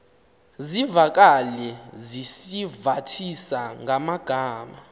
zivakale sizivathisa ngamagama